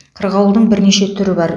қырғауылдың бірнеше түрі бар